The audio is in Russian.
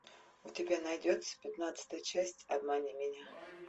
у тебя найдется пятнадцатая часть обмани меня